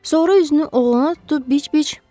Sonra üzünü oğluna tutub biç-biç: